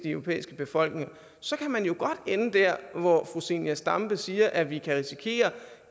europæiske befolkninger så kan man jo godt ende dér hvor fru zenia stampe siger at vi kan risikere